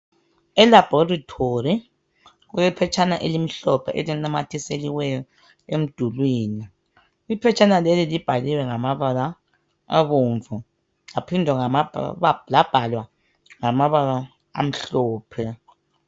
Elabholitholi kulephetshana elimhlophe elinamathiselweyo emdulwini. Iphetshana leli libhaliwe ngamabala abomvu, laphinda labhalwa ngamabala amhlophe.